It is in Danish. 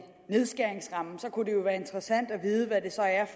nedskæringsramme kunne det jo være interessant at vide hvad det så er